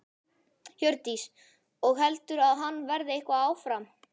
Hjördís: Og heldurðu að hann verði eitthvað áfram?